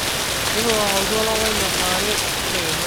tipika oltuala lai lesaa are tedekenya